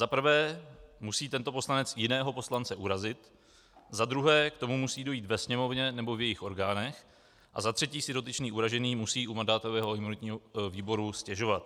Za prvé musí tento poslanec jiného poslance urazit, za druhé k tomu musí dojít ve Sněmovně nebo v jejích orgánech a za třetí si dotyčný uražený musí u mandátového a imunitního výboru stěžovat.